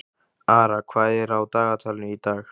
Ara, hvað er á dagatalinu í dag?